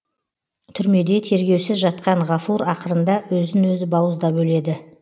түрмеде тергеусіз жатқан ғафур ақырында өзін өзі бауыздап өледі